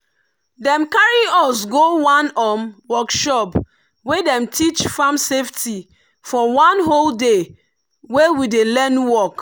dem carry us go one um workshop wey dem teach farm safety for one whole day when we dey learn work.